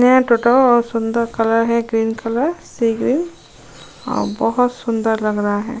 नया टोटो और सुंदर कलर है ग्रीन कलर सी-ग्रीन और बहुत सुंदर लग रहा है।